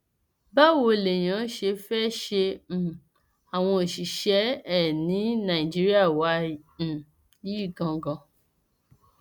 báwo lèèyàn ṣe fẹẹ ṣe um àwọn òṣìṣẹ ẹ ní nàìjíríà wa um yìí ganan